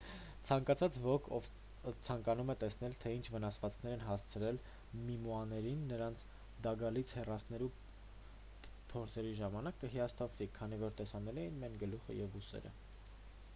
ցանկացած ոք ով ցանկանում է տեսնել թե ինչ վնասվածքներ են հասցվել մումիաներին նրանց դագաղից հեռացնելու փորձերի ժամանակ կհիասթափվի քանի որ տեսանելի են միայն գլուխը և ուսերը